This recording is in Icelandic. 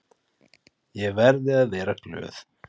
Ég verði að vera glöð.